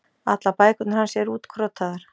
Allar bækurnar hans eru útkrotaðar.